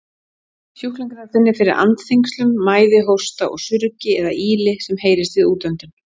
Sjúklingurinn finnur fyrir andþyngslum, mæði, hósta og surgi eða ýli sem heyrist við útöndun.